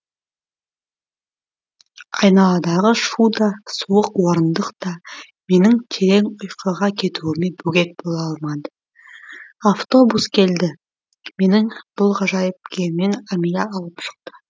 айналадағы шу да суық орындық та менің терең ұйқыға кетуіме бөгет бола алмады автобус келді менің бұл ғажайып күйімнен амиля алып шықты